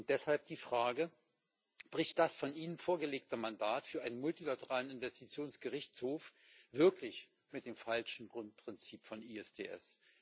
Deshalb die Frage Bricht das von Ihnen vorgelegte Mandat für einen multilateralen Investitionsgerichtshof wirklich mit dem falschen Grundprinzip von ISDS?